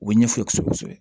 U bɛ ɲɛf'u ye kosɛbɛ kosɛbɛ